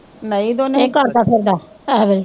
ਕੀ ਕਰਦਾ ਫਿਰਦਾ ਏਸ ਵੇਲ਼ੇ